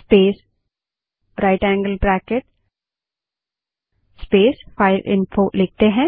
space right angle bracket space file info लिखते हैं